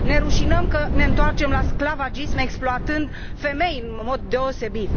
Ne rușinăm că ne întoarcem la sclavagism exploatând femei în mod deosebit.